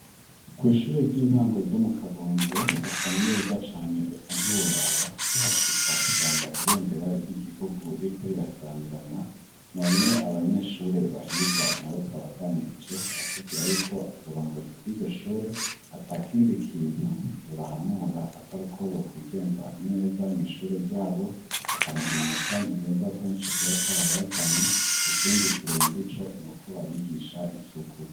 kw'ishure ry'intango ryo mu kabondo hasa neza cane eka ntiworaba, ukihashika usanga ibendera ry'igihugu ririko rirasamirana none abanyeshure bahiga na bo twabaganirije baratubwira yuko uburongozi bw'iryo shure ata kindi kintu ribahanura atari uko bokwigenza neza mw' ishure ryabo bakaronka amanota meza kuko nico kiba carabazanye ikindi kirenze ico n'uko babigisha isuku.